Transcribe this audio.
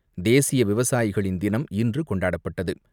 தேசிய விவசாயிகள் தினம் இன்று கொண்டாடப்பட்டது.